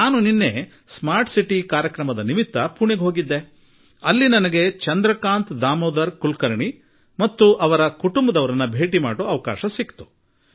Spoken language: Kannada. ನಾನು ನಿನ್ನೆ ಸ್ಮಾರ್ಟ್ ಸಿಟಿ ಕಾರ್ಯಕ್ರಮದ ಸಲುವಾಗಿ ಪುಣೆಗೆ ಹೋಗಿದ್ದಾಗ ಅಲ್ಲಿ ನನಗೆ ಶ್ರೀ ಚಂದ್ರಕಾಂತ್ ದಾಮೋದರ್ ಕುಲಕರ್ಣಿ ಹಾಗೂ ಅವರ ಕುಟುಂಬದ ಸದಸ್ಯರನ್ನು ಭೇಟಿಯಾದೆ